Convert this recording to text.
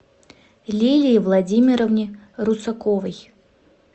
лилии владимировне русаковой